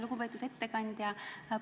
Lugupeetud ettekandja!